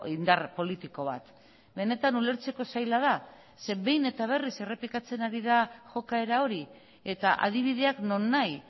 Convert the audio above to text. indar politiko bat benetan ulertzeko zaila da zeren behin eta berriz errepikatzen ari da jokaera hori eta adibideak nonahi